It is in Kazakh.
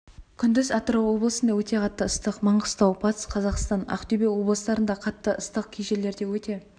күндіз атырау облысында өте қатты ыстық маңғыстау батыс қазақстан ақтөбе облыстарында қатты ыстық кей жерлерде өте